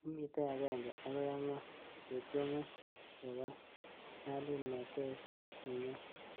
kemitei agenge akoi ang'wan, ketyemei kewal nyalulnatet nenyo.